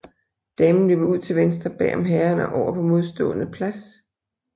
Damen løber ud til venstre bag om herren og over på modstående plads